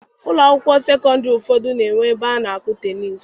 Ụlọ akwụkwọ sekọndịrị ụfọdụ na-enwe ebe a na-akụ teniisi.